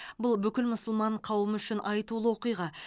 бұл бүкіл мұсылман қауымы үшін айтулы оқиға